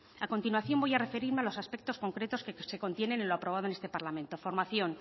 a continuación voy a referirme a los aspectos concretos que se contienen en lo aprobado en este parlamento formación